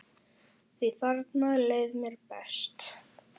Því þarna leið mér best.